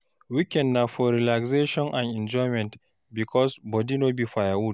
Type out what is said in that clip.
Weekend na for relaxation and enjoyment, because body no be firewood.